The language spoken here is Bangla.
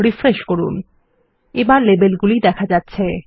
রিফ্রেশ করুন এবার দেখা যাচ্ছে